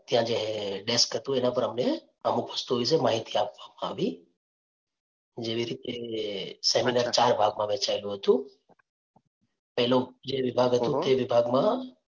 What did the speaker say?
ત્યાં જે desk હતું તેના પર અમને અમૂક વસ્તુઓ વિશે માહિતી આપવામાં આવી. જેવી રીતે seminar ચાર ભાગ માં વહેચાયેલું હતું. પહલો જે વિભાગ તે વિભાગ માં